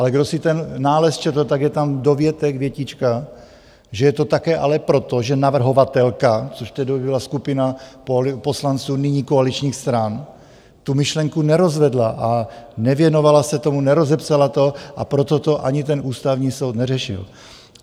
Ale kdo si ten nález četl, tak je tam dovětek, větička, že je to také ale proto, že navrhovatelka, což tehdy byla skupina poslanců nyní koaličních stran, tu myšlenku nerozvedla a nevěnovala se tomu, nerozepsala to, a proto to ani ten Ústavní soud neřešil.